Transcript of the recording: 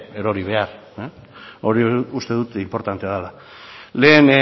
erori behar hori uste dut inportantea dela lehen